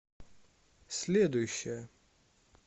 следующая